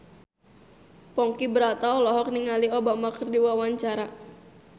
Ponky Brata olohok ningali Obama keur diwawancara